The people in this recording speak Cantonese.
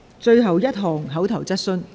最後一項口頭質詢。